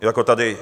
Jako tady.